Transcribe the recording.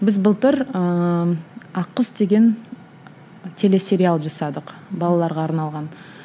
біз былтыр ыыы ақ құс деген телесериал жасадық балаларға арналған